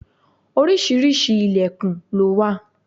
Oríṣiríṣi ìlẹ̀kùn lo wà.